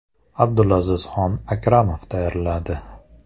Abdulazizxon Akramov tayyorladi.